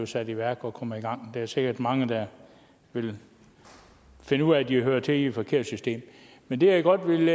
sat i værk og kommer i gang der er sikkert mange der vil finde ud af at de hører til i et forkert system men det jeg godt vil